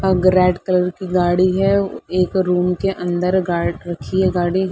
अग red colour की गाड़ी है। एक रूम के अंदर गाड रखी है गाड़ी।